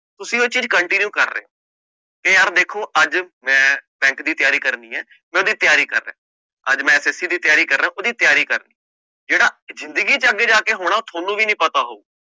ਤੁਸੀਂ ਉਹ ਚੀਜ਼ continue ਕਰ ਰਹੇ ਹੋ, ਇਹ ਯਾਰ ਦੇਖੋ ਅੱਜ ਮੈਂ bank ਦੀ ਤਿਆਰੀ ਕਰਨੀ ਹੈ ਮੈਂ ਉਹਦੀ ਤਿਆਰੀ ਕਰ ਰਿਹਾਂ, ਅੱਜ ਮੈਂ SSC ਦੀ ਤਿਆਰੀ ਕਰ ਰਿਹਾਂ ਉਹਦੀ ਤਿਆਰੀ ਕਰ, ਜਿਹੜਾ ਜ਼ਿੰਦਗੀ ਚ ਅੱਗੇ ਜਾ ਕੇ ਹੋਣਾ ਉਹ ਤੁਹਾਨੂੰ ਵੀ ਨੀ ਪਤਾ ਹੋਊ।